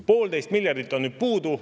Poolteist miljardit on nüüd puudu.